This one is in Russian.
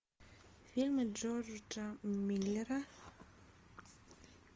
фильмы джорджа миллера